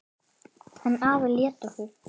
En afi lét okkur